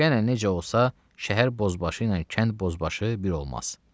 Yenə necə olsa, şəhər bozbaşı ilə kənd bozbaşı bir olmaz.